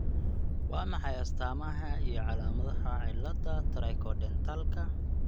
Waa maxay astaamaha iyo calaamadaha cillada Trichodentalka?